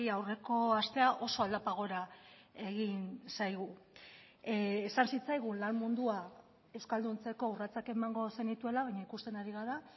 aurreko astea oso aldapa gora egin zaigu esan zitzaigun lan mundua euskalduntzeko urratsak emango zenituela baina ikusten ari gara